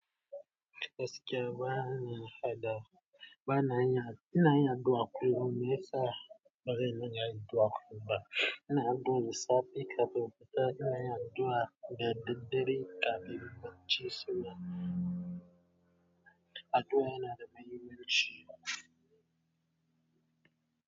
Gaskiya bana haɗa, bana yin, ina yin addu'a kullum. Me yasa ba zan dinga addu'a kullum ba? Ina addu'a da safe kafin in fita, ina yin addu'a da daddare kafin in barci saboda addu'a yana da mahimmanci.